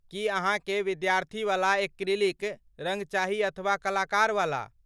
की अहाँकेँ विद्यार्थीवला एक्रिलिक रङ्ग चाही अथवा कलाकारवला?